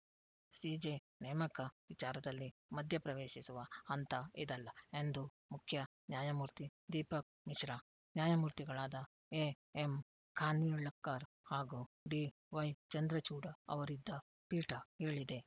CJ ನೇಮಕ ವಿಚಾರದಲ್ಲಿ ಮಧ್ಯಪ್ರವೇಶಿಸುವ ಹಂತ ಇದಲ್ಲ ಎಂದು ಮುಖ್ಯ ನ್ಯಾಯಮೂರ್ತಿ ದೀಪಕ್‌ ಮಿಶ್ರಾ ನ್ಯಾಯಮೂರ್ತಿಗಳಾದ ಎಎಂ ಖಾನ್ವಿಳ್ಕರ್‌ ಹಾಗೂ ಡಿವೈ ಚಂದ್ರಚೂಡ ಅವರಿದ್ದ ಪೀಠ ಹೇಳಿದೆ